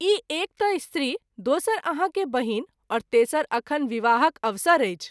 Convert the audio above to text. ई एक त’ स्त्री, दोसर आहाँ के बहिन और तेसर अखन विवाहक अवसर अछि।